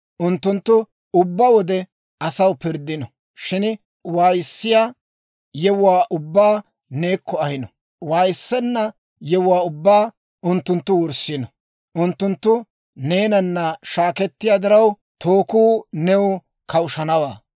Unttunttu ubbaa wode asaw pirddino; shin waayissiyaa yewuwaa ubbaa neekko ahino; waayissenna yewuwaa ubbaa unttunttu wurssino. Unttunttu neenana shaakketiyaa diraw, tookuu new kawushanawaa.